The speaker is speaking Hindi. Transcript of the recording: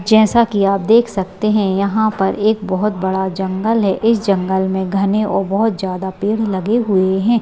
जैसा की आप देख सकते है यहाँ पर एक बहुत बड़ा जंगल है इस जंगल में घने और बहुत ज्यादा पेड़ लगे हुए है।